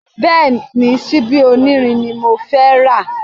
Bẹ́ẹ̀ni, síbí onírin ni mo fẹ́ rà